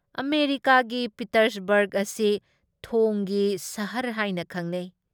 ꯑꯃꯦꯔꯤꯀꯥꯒꯤ ꯄꯤꯇꯔꯁꯕꯔꯒ ꯑꯁꯤ ꯊꯣꯡꯒꯤ ꯁꯍꯔ ꯍꯥꯏꯅ ꯈꯪꯅꯩ ꯫